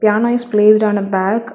Piano is placed on a bag.